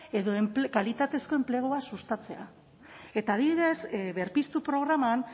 edo kalitatezko enplegua sustatzea eta adibidez berpiztu programan